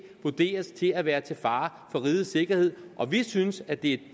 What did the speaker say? vurderes til at være til fare for rigets sikkerhed og vi synes at det